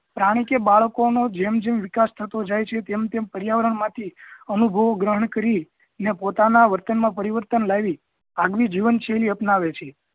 પ્રાણી કે બાળકો નો જેમ જેમ વિકાસ થતો જાય છે તેમ તેમ પર્યાવરણ માંથી અનુભવો ગ્રહણ કરી ને પોતાના વતન માં પરિવર્તન લાવી આગમી જીવન શૈલી અપનાવે છે